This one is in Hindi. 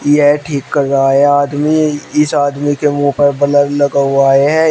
यह ठीक कर रहा है आदमी इस आदमी के मुंह पर ब्लर लगा हुआ है।